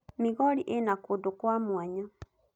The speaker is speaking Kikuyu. Migori ĩna kũndũ kwa mwanya.